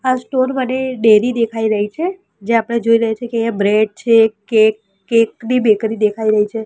આ સ્ટોર મને ડેરી દેખાઈ રહી છે જ્યાં આપણે જોઈ રહ્યા છે કે અહિયા બ્રેડ છે કેક કેક ની બેકરી દેખાઇ રહી છે.